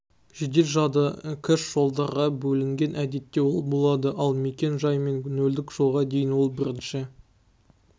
жедел жады кэш-жолдарға бөлінген әдетте ол болады ал мекен-жай мен нөлдік жолға дейін ал бірінші